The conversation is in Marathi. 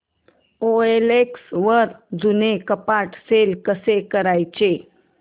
ओएलएक्स वर जुनं कपाट सेल कसं करायचं